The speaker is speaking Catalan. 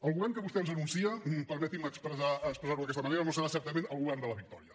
el govern que vostè ens anuncia permetin me expressar ho d’aquesta manera no serà certament el govern de la victòria